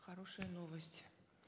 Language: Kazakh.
хорошая новость